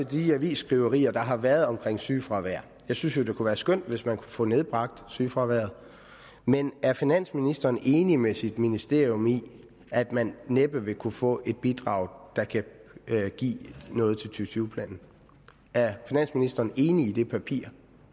de avisskriverier der har været om sygefravær jeg synes jo det kunne være skønt hvis man kunne få nedbragt sygefraværet men er finansministeren enig med sit ministerium i at man næppe vil kunne få et bidrag der kan give noget til tyve planen er finansministeren enig i det papir